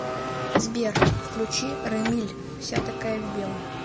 сбер включи рамиль вся такая в белом